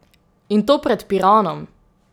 In to pred Piranom!